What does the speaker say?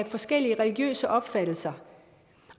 forskellige religiøse opfattelser